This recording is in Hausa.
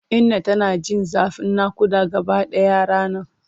Inna tana jin zafin nakuda gabaɗaya ranar.